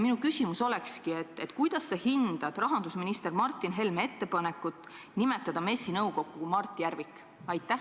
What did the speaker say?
Minu küsimus olekski: kuidas sa hindad rahandusminister Martin Helme ettepanekut nimetada MES-i nõukokku Mart Järvik?